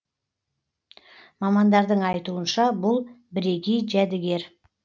мамандардың айтуынша бұл бірегей жәдігер